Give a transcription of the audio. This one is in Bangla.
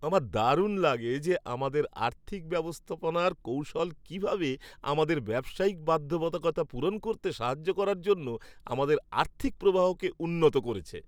আমার দারুণ লাগে যে আমাদের আর্থিক ব্যবস্থাপনার কৌশল কীভাবে আমাদের ব্যবসায়িক বাধ্যবাধকতা পূরণ করতে সাহায্য করার জন্য আমাদের আর্থিক প্রবাহকে উন্নত করেছে।